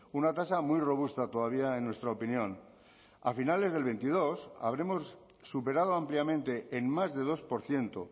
una tasa muy robusta todavía en nuestra opinión a finales del veintidós habremos superado ampliamente en más de dos por ciento